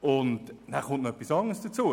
Etwas anderes kommt hinzu.